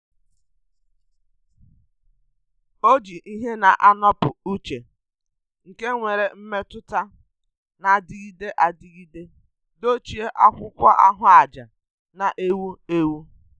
Ọ́ jì ìhè nà-ànọ́pụ́ ìchè nke nwere mmètụ́ta nà-adịgide adịgide dochie ákwụ́kwọ́ áhụ́àjà nà-èwú éwú.